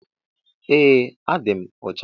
Eeh adim ọcha.